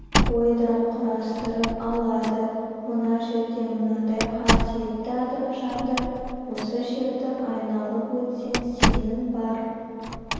ойдан құрастырып алады мына жерде мынадай қасиетті адам жатыр осы жерді айналып өтсең сенің бар